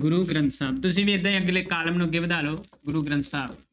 ਗੁਰੂ ਗ੍ਰੰਥ ਸਾਹਿਬ ਤੁਸੀਂ ਵੀ ਏਦਾਂ ਹੀ ਅਗਲੇ column ਨੂੰ ਅੱਗੇ ਵਧਾ ਲਓ ਗੁਰੂ ਗ੍ਰੰਥ ਸਾਹਿਬ।